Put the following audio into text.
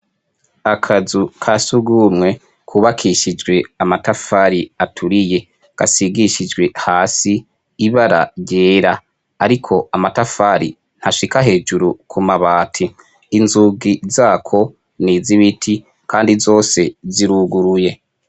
Akazu ka zurwumwe kubakishijwe amatafari aturiye; gasigishijwe hasi ibara ryera. Ariko amatafari ntashika hejuru ku mabati. Inzugi zako ni iz'ibiti kandi zose ziruguruye.